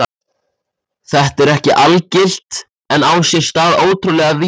Þetta er ekki algilt en á sér stað ótrúlega víða.